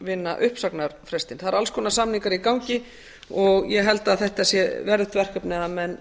vinna uppsagnarfrestinn það eru alls konar samningar í gangi og ég held að þetta sé verðugt verkefni að menn